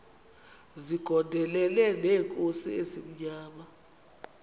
zigondelene neenkosi ezimnyama